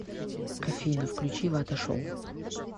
афина включи вата шоу